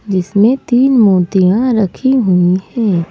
जिसमें तीन मूर्तियां रखी हुई हैं।